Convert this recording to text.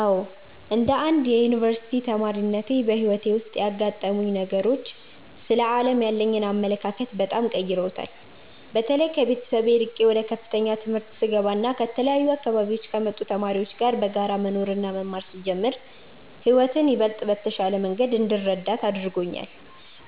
አዎ፣ እንደ አንድ የዩኒቨርሲቲ ተማሪነቴ በሕይወቴ ውስጥ ያጋጠሙኝ ነገሮች ስለ ዓለም ያለኝን አመለካከት በጣም ቀይረውታል። በተለይ ከቤተሰብ ርቄ ወደ ከፍተኛ ትምህርት ስገባና ከተለያዩ አካባቢዎች ከመጡ ተማሪዎች ጋር በጋራ መኖርና መማር ስጀምር ሕይወትን ይበልጥ በተሻለ መንገድ እንድረዳት አድርጎኛል።